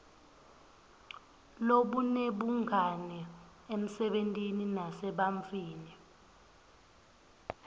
lobunebungani emsebentini nasebantfwini